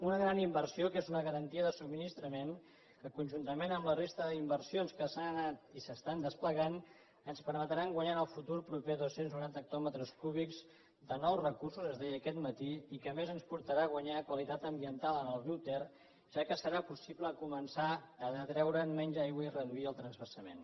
una gran inversió que és una garantia de subministrament que conjuntament amb la resta d’inversions que s’han anat i s’estan desplegant ens permetrà guanyar en el futur proper dos cents i noranta hectòmetres cúbics de nous recursos es deia aquest matí i que a més ens portarà a guanyar qualitat ambiental en el grup ter ja que serà possible començar a detreure’n menys aigua i reduir el transvasament